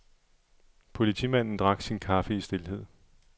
Politimanden drak sin kaffe i stilhed.